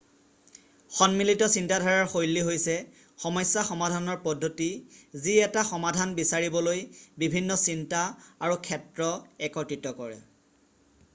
সন্মিলিত চিন্তাধাৰাৰ শৈলী হৈছে সমস্যা সমাধানৰ পদ্ধতি যি এটা সমাধান বিচাৰিবলৈ বিভিন্ন চিন্তা আৰু ক্ষেত্ৰ একত্ৰিত কৰে